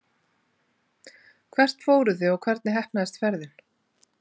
Hvert fóruð þið og hvernig heppnaðist ferðin?